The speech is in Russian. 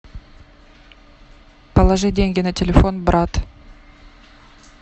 положи деньги на телефон брат